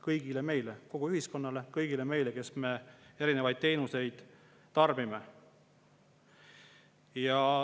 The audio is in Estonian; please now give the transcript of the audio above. Kõigile meile, kogu ühiskonnale, kõigile meile, kes me erinevaid teenuseid tarbime.